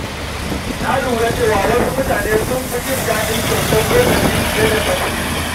Na lura cewa wasu mutane sun fi jin daɗin kyautar lokaci fiye da ta kuɗi.